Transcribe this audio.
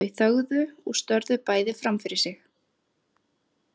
Þau þögðu og störðu bæði fram fyrir sig.